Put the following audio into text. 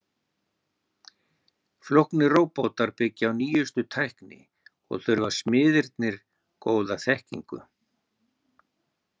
Flóknir róbótar byggja á nýjustu tækni og þurfa smiðirnir góða þekkingu.